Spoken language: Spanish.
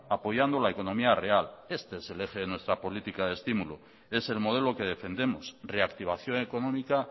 apoyando la economía real este es el eje de nuestra política de estímulo es el modelo que defendemos reactivación económica